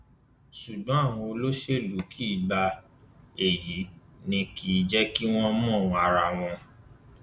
ṣùgbọn àwọn olóṣèlú kì í gba èyí ni kì í jẹ kí wọn mọ ìwọn ara wọn